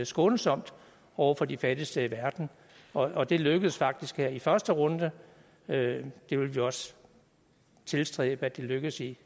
skånsomt over for de fattigste i verden og det lykkedes faktisk her i første runde det det vil vi også tilstræbe lykkes i